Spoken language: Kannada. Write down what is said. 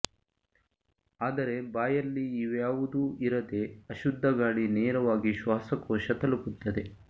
ಆದರೆ ಬಾಯಲ್ಲಿ ಇವ್ಯಾವುದೂ ಇರದೇ ಅಶುದ್ಧ ಗಾಳಿ ನೇರವಾಗಿ ಶ್ವಾಸಕೋಶ ತಲುಪುತ್ತದೆ